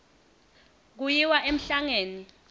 kuyiwa emhlangeni